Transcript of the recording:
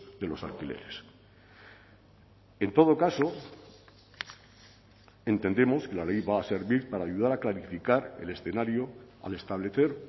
de los alquileres en todo caso entendemos que la ley va a servir para ayudar a clarificar el escenario al establecer